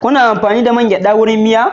Kuna amfani da man geɗa don miya?